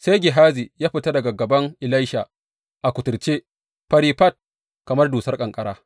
Sai Gehazi ya fita daga gaban Elisha a kuturce, fari fat kamar dusar ƙanƙara.